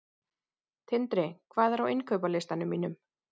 Tindri, hvað er á innkaupalistanum mínum?